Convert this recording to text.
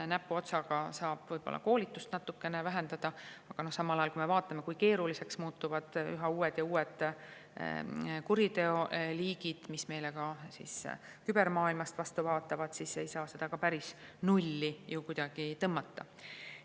Näpuotsaga saab võib-olla koolitust natukene vähendada, aga samal ajal, kui me näeme, kui keeruliseks muutuvad üha uued ja uued kuriteoliigid, mis meile ka kübermaailmast vastu vaatavad, siis ei saa seda päris nulli ju mitte kuidagi tõmmata.